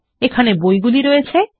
এখানে বইগুলি রয়েছে